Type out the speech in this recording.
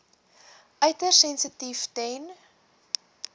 uiters sensitief ten